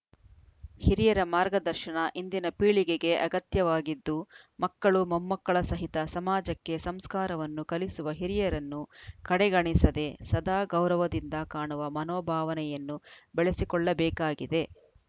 ಹಿರಿಯರ ಮಾರ್ಗದರ್ಶನ ಇಂದಿನ ಪೀಳಿಗೆಗೆ ಅಗತ್ಯವಾಗಿದ್ದು ಮಕ್ಕಳು ಮೊಮ್ಮಕ್ಕಳ ಸಹಿತ ಸಮಾಜಕ್ಕೆ ಸಂಸ್ಕಾರವನ್ನು ಕಲಿಸುವ ಹಿರಿಯರನ್ನು ಕಡೆಗಣಿಸದೆ ಸದಾ ಗೌರವದಿಂದ ಕಾಣುವ ಮನೋಭಾವನೆಯನ್ನು ಬೆಳೆಸಿಕೊಳ್ಳಬೇಕಾಗಿದೆ